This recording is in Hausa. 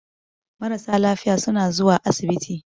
Marasa lafiya suna zuwa asibiti.